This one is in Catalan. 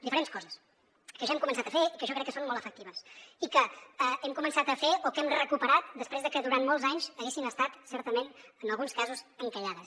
diferents coses que ja hem començat a fer i que jo crec que són molt efectives i que hem començat a fer o que hem recuperat després de que durant molts anys haguessin estat certament en alguns casos encallades